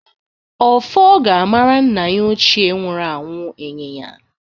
Ọfọ ga-amara nna ya ochie nwuru anwụ ịnyịnya.